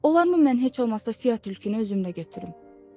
Olar mı mən heç olmasa Fia tülkünü özümlə götürüm?